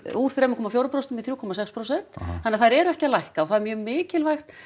úr þremur komma fjögur prósent í þrjú komma sex prósent þannig að þær eru ekki að lækka og það er mjög mikilvægt